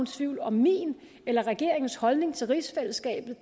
tvivl om min eller regeringens holdning til rigsfællesskabet